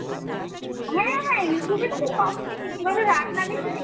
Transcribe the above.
হ্যাঁ youtube এই তো সব দেখি কিভাবে রান্না বেশি দেখি